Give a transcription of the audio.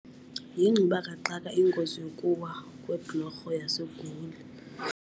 Yingxubakaxaka ingozi yokuwa kweblorho yaseGoli.